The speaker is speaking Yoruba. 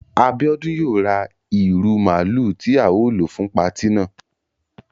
Abiodun yóò ra ìru máálu ti ao lo fun pàti náà